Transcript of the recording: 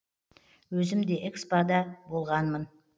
өзім де экспо да болғанмын